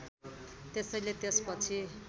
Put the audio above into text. त्यसैले त्यसपछि